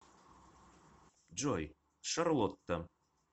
джой шарлотта